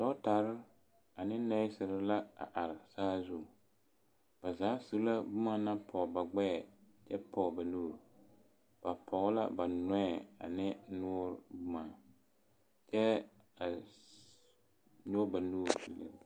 Dɔɔtare ane nɛɛsere la a are saazu, ba zaa zu la boma naŋ pɔɔ ba gbɛɛ kyɛ pɔɔ ba nuuri, ba pɔɔ la ba nɔɛ ane noɔre boma kyɛ a noba nuuri.